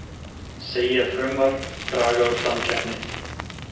Segja frumvarp draga úr samkeppni